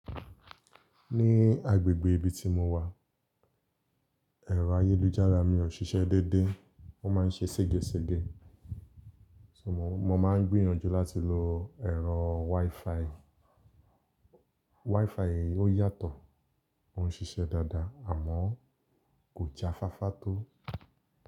Ní agbègbè ibi tí mo wà, ẹ̀rọ ayélujára mí ò ṣiṣẹ́ dédé, ó máa ń ṣe ségesège. Mo máa ń gbìyànjú láti lo ẹ̀rọ WiFi. WiFi ó yàtọ̀, ó ń ṣiṣẹ́ dáadáa àmọ́ kò já fáfá tó.